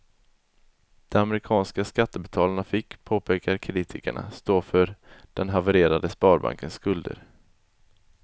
De amerikanska skattebetalarna fick, påpekar kritikerna, stå för den havererade sparbankens skulder.